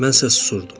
Mən isə susurdum.